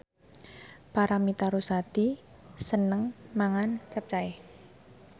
Paramitha Rusady seneng mangan capcay